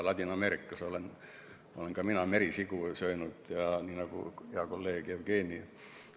Ladina-Ameerikas olen ka mina merisiga söönud, nagu hea kolleeg Jevgeni.